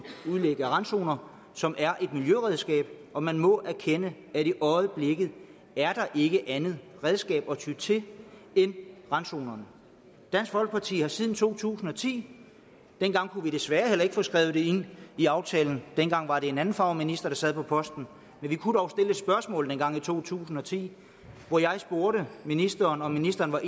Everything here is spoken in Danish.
udlæg af randzoner som er et miljøregnskab og man må erkende at der i øjeblikket ikke er andet redskab at ty til end randzonerne dansk folkeparti har siden to tusind og ti desværre ikke kunnet få skrevet det ind i aftalen dengang var det en anden farve minister der sad på posten men vi kunne dog stille et spørgsmål dengang i to tusind og ti og jeg spurgte ministeren om ministeren var